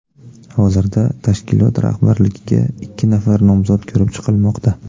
Hozirda tashkilot rahbarligiga ikki nafar nomzod ko‘rib chiqilmoqda.